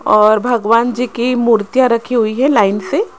और भगवान जी की मूर्तियां रखी हुई है लाइन से।